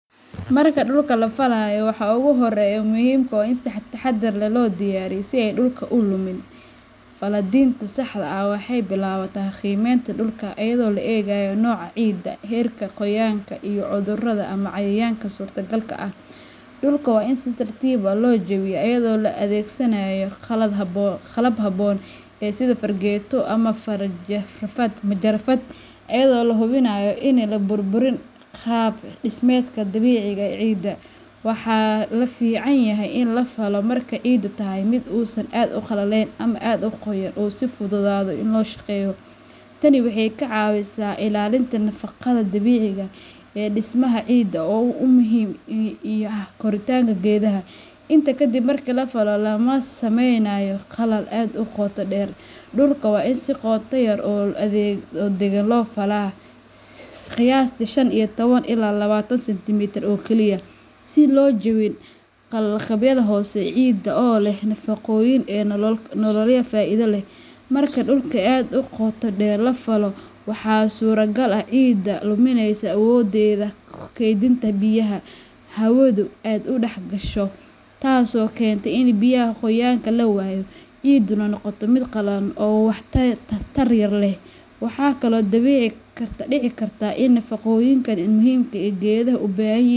\Marka dhulka la falaayo waxaa ugu horreyo muhimka oo in si taxadar leh loo diyaariyo si ay dhulka u lumin, Fallatiinta saxda aha waxeey bilawataa qimeynta dhulka ayadoo la eegaayo nooca ciidda ,heerka qooyanka iyo cudurrada ama cayayanka suurta galka ah .Dhulka waa in si tartiib ah loo jabiyo ayadoo la adeegsanaayo qalab habboon sida fargeeto ama farjafad, majarafad ayadoo la hubinaayo ini la burburin qaab dhismeedka dabiciga eh ee ciidda. Waxaa la fiican yahay in la falo marka ay ciiddu tahay mid uusan aad u qallaleyn ama aad u qoyan oo sii fududaado in loo shaqeeyo .Tani waxeey ka cawisaa ilaalinta nafaqada dabiciga ee dhismaha cidda oo u muhiim ,iyo korotaanka geedaha ,inta kadib marki la falo lama sameynaayo qallal aad u qoota dheer. Qallaka waa in si qoota yar oo dagan loo falaa ,qiyastii shan iyo tawan ilaa lawatan centimetre oo kaliya ,si loo jabin qalaqabyada hoose cidda oo leh naafaqooyin nololya faaida leh ,marka dhulka aad u qoota dheer la falo ,waxaa suura gal ah cidda limineysa awoddeda keydinta biyaha ,hawadu aad u dha gasho tasoo keento ini biyaha qoyaanka la waayo cidduna noqoto mid qallalan oo waxtar yar leh . Waxaa kale oo dabiici ,dhici karta in nafaqooyin muhimka eh ee geedaha u baahan yihiin.